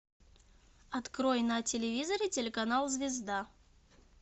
открой на телевизоре телеканал звезда